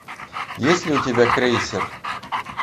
есть ли у тебя крейсер